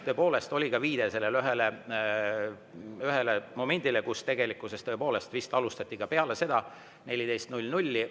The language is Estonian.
Tõepoolest oli ka viide sellele ühele, kus tegelikkuses vist alustati peale kella 14.